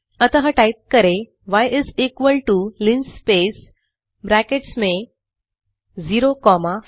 अतः टाइप करें y is equal to linspace brackets में 050500